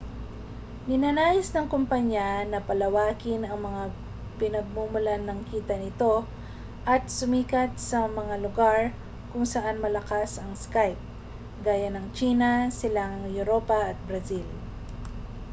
ninanais ng kompanya na palawakin ang mga pinagmumulan ng kita nito at sumikat sa mga lugar kung saan malakas ang skype gaya ng tsina silangang europa at brazil